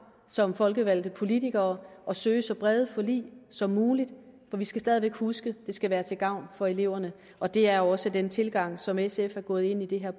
som folkevalgte politikere at søge så brede forlig som muligt for vi skal stadig væk huske det skal være til gavn for eleverne og det er også den tilgang som sf er gået ind i det her